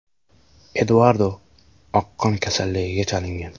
Eduardo oqqon kasalligiga chalingan.